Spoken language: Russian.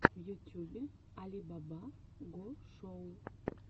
в ютюбе али баба го шоу